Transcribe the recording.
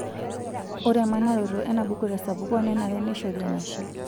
Ore emanaroto enabuku tesapuko nenare neishori enashe.